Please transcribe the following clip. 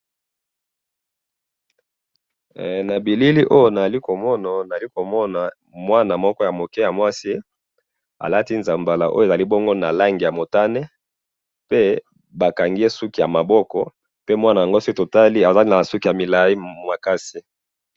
he na bilili oyo awa nazali komona nazali komona mwana moko ya muke ya mwasi alati nzambala oyo ezali bongo na langi ya motane pe bakangiye suki ya maboko pe soki totali azali na suki ya milayi makasi